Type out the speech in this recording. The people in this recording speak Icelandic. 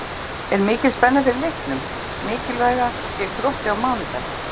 Er mikil spenna fyrir leiknum mikilvæga gegn Þrótti á mánudag?